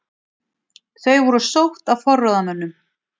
Þau voru sótt af forráðamönnum